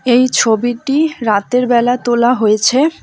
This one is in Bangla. এই ছবিটি রাতের বেলা তোলা হয়েছে।